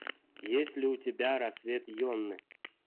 есть ли у тебя рассвет йоны